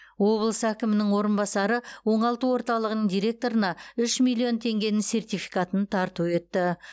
облыс әкімінің орынбасары оңалту орталығының директорына үш миллион теңгенің сертификатын тарту етті